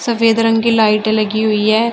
सफेद रंग की लाइटें लगी हुई है।